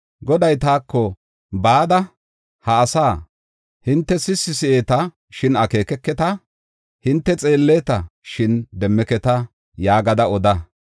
Goday taako, “Bada ha asaa, ‘Hinte sissi si7eeta, shin akeekeketa; hinte xeelleta, shin demmeketa’ ” yaagada oda.